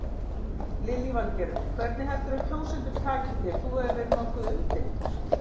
Lillý Valgerður: Hvernig heldurðu að kjósendur taki þér, þú hefur verið nokkuð umdeildur?